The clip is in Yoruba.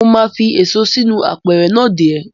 Mo máa fi èso inú apẹ̀rẹ̀ náà dè ẹ́.